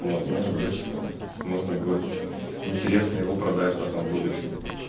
вот может быть можно будет интересно его продать потом в будущем